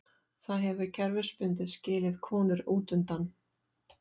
Það hefur kerfisbundið skilið konur útundan.